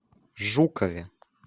жукове